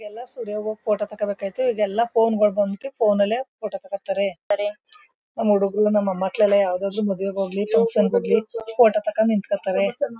ಎಲ್ಲ ಸ್ಟುಡಿಯೋದಲ್ಲಿ ಹೋಗಿ ಫೋಟೋ ತೋಗಬೇಕಿತು ಇವಾಗೆಲ್ಲ ಫೋನ್ ಗಳು ಬಂದ್ಬಿಟ್ಟು ಫೋನಲ್ಲೇ ಫೋಟೋ ತಾಕೋತಾರೆ ನಮೂಡಗೂರು ನಮ ಮಕ್ಕಳು ಮದುವೆಗೆ ಹೋಗ್ಲಿ ಫೋಟೋ ತೊಗಂಡ್ ನಿಂತುಕೊತಾರೆ.